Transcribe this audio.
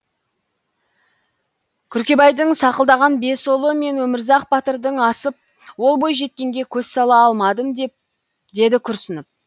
күркебайдың сақылдаған бес ұлы мен өмірзақ батырдан асып ол бойжеткенге сөз сала алмадым деді күрсініп